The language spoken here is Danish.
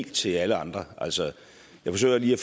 til alle andre jeg forsøger lige at